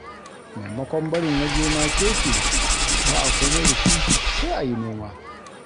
Maimakon barin waje makeke ba a komai da shi, sai a yi noma.